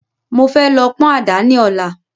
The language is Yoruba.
Mo fẹ́ lọ pọ́n àdá ni Ọ̀la